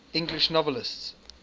english novelists